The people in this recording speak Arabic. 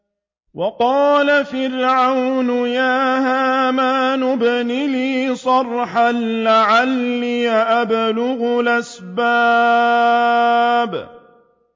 وَقَالَ فِرْعَوْنُ يَا هَامَانُ ابْنِ لِي صَرْحًا لَّعَلِّي أَبْلُغُ الْأَسْبَابَ